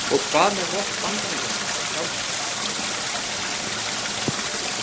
Og hvað með vopn Bandaríkjamanna sjálfra?